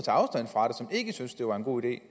ikke syntes det var en god idé